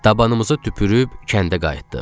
Dabanımıza tüpürüb kəndə qayıtdıq.